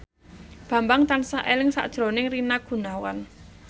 Bambang tansah eling sakjroning Rina Gunawan